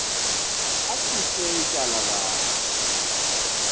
asuse ityala lam